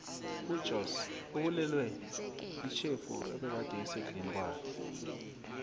ujoss ubulewe yitjhefu ebegade isekudleni kwakhe